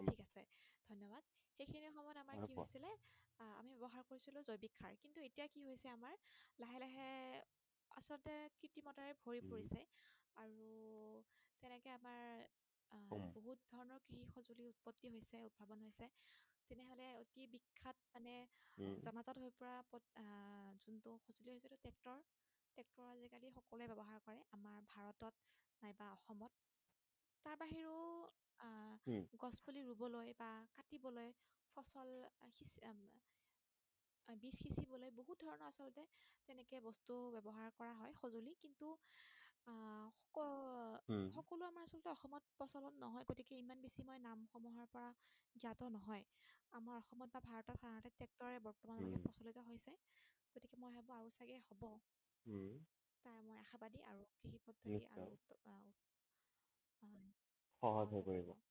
সহজ হৈ পৰিব